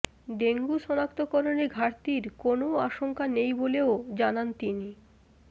dengue সনাক্তকরণে ঘাটতির কোনও আশংকা নেই বলেও জানান তিনি